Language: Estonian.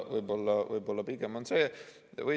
Võib-olla pigem on see.